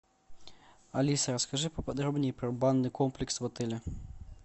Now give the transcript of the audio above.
алиса расскажи по подробнее про банный комплекс в отеле